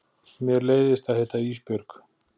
Mér leiðist að heita Ísbjörg.